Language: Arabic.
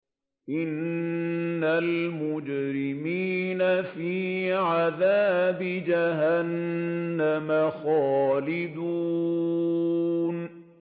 إِنَّ الْمُجْرِمِينَ فِي عَذَابِ جَهَنَّمَ خَالِدُونَ